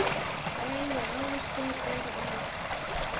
Fræ og ávöxtur eru æt.